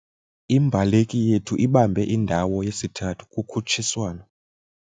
Imbaleki yethu ibambe indawo yesithathu kukhutshiswano.